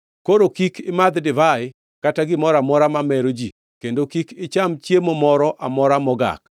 Koro kik imadh divai kata gimoro amora mamero ji kendo kik icham chiemo moro amora mogak,